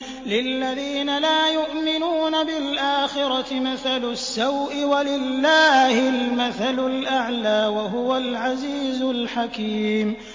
لِلَّذِينَ لَا يُؤْمِنُونَ بِالْآخِرَةِ مَثَلُ السَّوْءِ ۖ وَلِلَّهِ الْمَثَلُ الْأَعْلَىٰ ۚ وَهُوَ الْعَزِيزُ الْحَكِيمُ